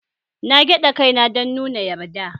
Na gyada kai na dan nuna yarda.